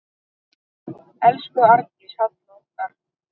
Elsku Arndís Halla okkar.